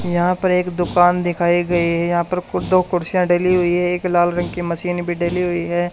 मुझे यहां पर एक दुकान दिखाई गई है यहां पर दो कुर्सियां डली हुई है एक लाल रंग की मशीन भी डली हुई है।